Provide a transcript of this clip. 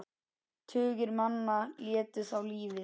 Tugir manna létu þá lífið.